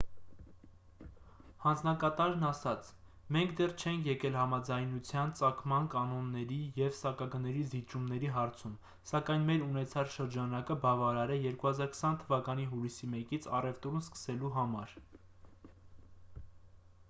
հանձնակատարն ասաց մենք դեռ չենք եկել համաձայնության ծագման կանոնների և սակագների զիջումների հարցում սակայն մեր ունեցած շրջանակը բավարար է 2020 թվականի հուլիսի 1-ից առևտուրն սկսելու համար